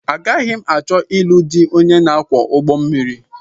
Agaghị m achọ ilu dị onye na-akwọ ụgbọmmiri